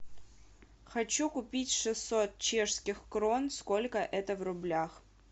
хочу купить шестьсот чешских крон сколько это в рублях